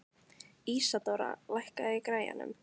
Ísadóra, lækkaðu í græjunum.